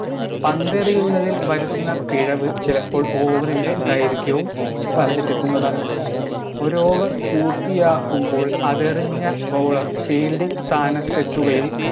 പന്തെറിയുന്നതിൽ വരുന്ന പിഴവ് ചിലപ്പോൾ over ൻറെ ദൈർഘ്യവും വർദ്ധിപ്പിക്കുന്നതാണ് ഒര് over പൂർത്തിയാക്കുമ്പോൾ അതെറിഞ്ഞ bowler fielding സ്ഥാനത്തെത്തുകയും